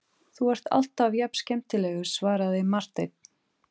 Þú ert alltaf jafn skemmtilegur, svaraði Marteinn.